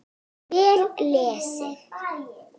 Vel lesið.